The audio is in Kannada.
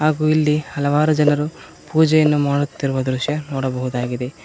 ಹಾಗು ಇಲ್ಲಿ ಹಲವಾರು ಜನರು ಪೂಜೆಯನ್ನು ಮಾಡುತ್ತಿರುವ ದೃಶ್ಯ ನೋಡಬಹುದಾಗಿದೆ.